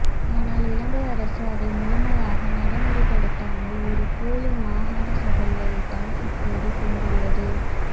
ஆனால் இலங்கை அரசு அதை முழுமையாக நடைமுறைப் படுத்தாமல் ஒரு போலி மாகாணசபையைத்தான் இப்போது கொடுத்துள்ளது